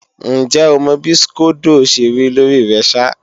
Ǹjẹ́ o mọ bí skódó ó ṣe rí lórí rẹ ṣá?